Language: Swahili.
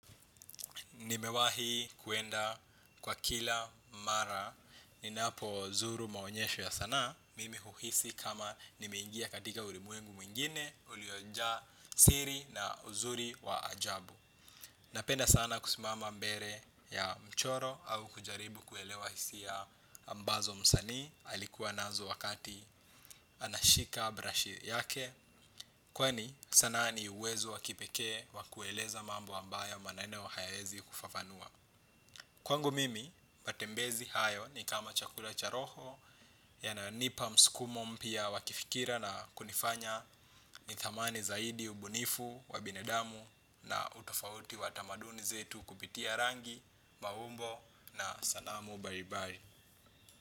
Nimewahi kuenda kwa kila mara, ninapozuru maonyesho ya sana, mimi uhuhisi kama nimeingia katika ulimwengu mwingine, ulioja siri na uzuri wa ajabu. Napenda sana kusimama mbele ya mchoro au kujaribu kuelewa hisia ambazo msani, alikuwa nazo wakati anashika brashi yake. Kwani sanaa ni uwezo wa kipeke wakueleza mambo ambayo manane hayaezi kufafanua Kwango mimi, matembezi hayo ni kama chakula cha roho. Yananipa msikumo mpya wa kifikira na kunifanya nithamani zaidi ubunifu, wabinadamu na utofauti wa tamaduni zetu kupitia rangi, maumbo na sanamu baribari.